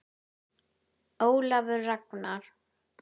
Ólafur Ragnar.